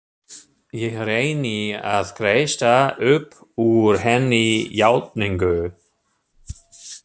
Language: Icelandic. Ég reyni að kreista upp úr henni játningu.